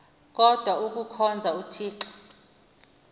kodwa ikuhkhonza uthixo